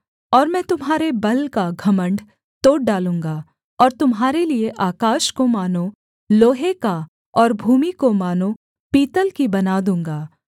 और मैं तुम्हारे बल का घमण्ड तोड़ डालूँगा और तुम्हारे लिये आकाश को मानो लोहे का और भूमि को मानो पीतल की बना दूँगा